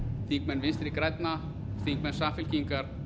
þingmenn vinstri grænna þingmenn samfylkingar